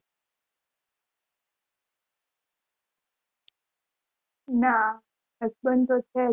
ના husband તો છે જ